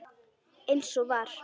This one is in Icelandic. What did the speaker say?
Eins og var.